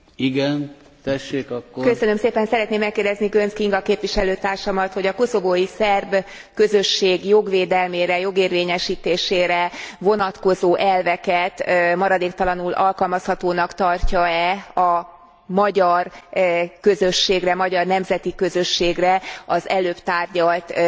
Szeretném megkérdezni Göncz Kinga képviselőtársamat, hogy a koszovói szerb közösség jogvédelmére, jogérvényesítésére vonatkozó elveket maradéktalanul alkalmazhatónak tartja e a magyar közösségre, magyar nemzeti közösségre, az előbb tárgyalt Szerbia vonatkozásában?